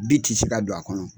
ti si ka don a kɔnɔ.